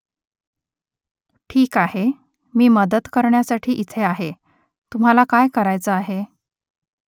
ठीक आहे . मी मदत करण्यासाठी इथे आहे . तुम्हाला काय करायचं आहे ?